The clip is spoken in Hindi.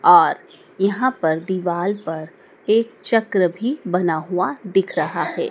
आर यहां पर दीवाल पर एक चक्र भी बना हुआ दिख रहा है।